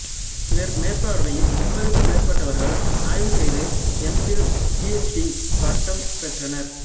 இவர் மேற்பார்வையில் முப்பதுக்கும் மேற்பட்டவர்கள் ஆய்வு செய்து M Phil P H D பட்டம் பெற்றனர்